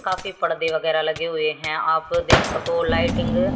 काफी पर्दे वगैराह लगे हुए हैं आप देख सको लाइटिंग --